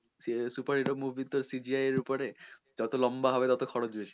super hero movie তো CGI এর ওপরে যত লম্বা হবে ততো খরচ বেশি